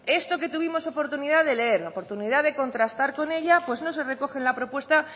esto que tuvimos oportunidad de leer oportunidad de contrastar con ella no se recoge en la propuesta